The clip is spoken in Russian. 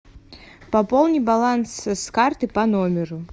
пополни баланс с карты по номеру